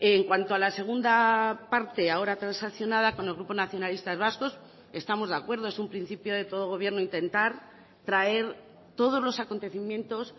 en cuanto a la segunda parte ahora transaccionada con el grupo nacionalistas vascos estamos de acuerdo es un principio de todo gobierno intentar traer todos los acontecimientos